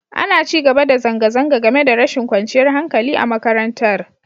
Ana ci gaba da zanga-zanga, game da rashin kwanciyar hankali a makarantar.